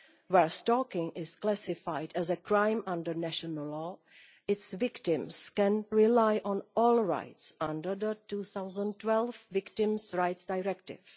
Where stalking is classified as a crime under national law, its victims can rely on all rights under the 2012 Victims' Rights Directive.